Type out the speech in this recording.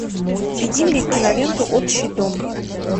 введи мне киноленту общий дом